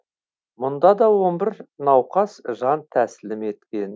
мұнда да он бір науқас жан тәсілім еткен